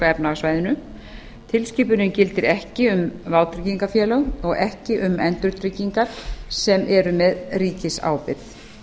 efnahagssvæðinu tilskipunin gildir ekki um vátryggingafélög og ekki um endurtryggingar sem eru með ríkisábyrgð